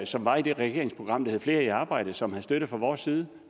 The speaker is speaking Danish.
som var i det regeringsprogram der hed flere i arbejde som havde støtte fra vores side